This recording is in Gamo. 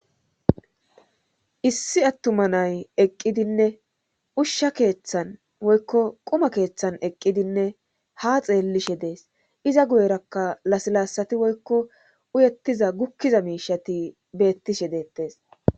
Issi attuma nay eqqidinne ushsha keeththan woykko quma keeththan eqqidinne ha xeellishe dees iza guyerakka lasilaasati woykko uyettiza gukkiza miishati beettishe deettes.